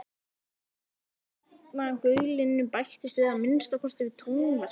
Bassinn í garnagaulinu bættist að minnsta kosti við tónverkið.